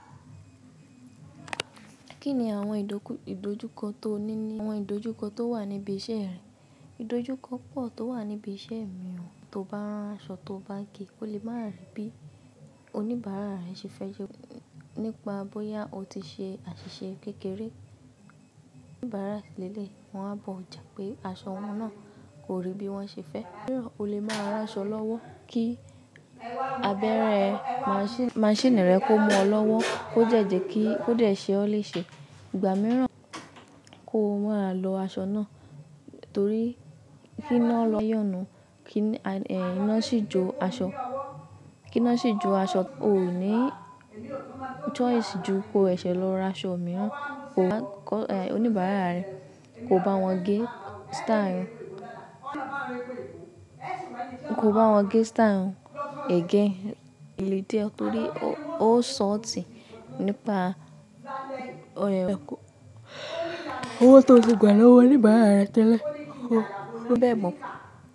Kí ni àwọn ìdojúkọ tó ní ní àwọn ìdojúkọ tó wà níbi iṣẹ́ rẹ? Ìdojúkọ pọ̀ tó wà níbi iṣẹ́ mí o tó bá rán aṣọ tó bá gé, ó le máa ri bí oníbàárà rẹ ṣe fẹ́ jẹ ko nípa bóyá ó ti ṣe àṣìṣe kékeré. Oníbàárà leleyi wọn á bọ̀ jà pé aṣọ wọn náà kò rí bí wọ́n ṣe fẹ́. Míràn o le máa rán aṣọ lọ́wọ́ kí abẹ́rẹ́ maṣiini maṣíìnì rẹ kó mú ọ lọ́wọ́ kó jẹ̀ jẹ́ ki o de ṣe ó lè ṣe. Ìgbà mìíràn kó máa lọ aṣọ náà torí kí iná lọ́yàn náà, kí iná sì jó aṣọ, kí iná sì jó aṣọ, o ò ní choice ju ko ẹṣẹ lọ ra aṣọ mìíràn, oníbàárà rẹ kò bá wọn gé style ko ba wọn ge style wọn again le diẹ tori o o sọọti nipa owó tó ti gbà lọ́wọ́ oníbàárà rẹ tẹ́lẹ̀. Ó dẹ́ mọ́.